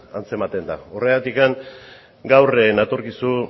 antzematen da horregatik gaur natorkizu